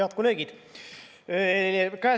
Head kolleegid!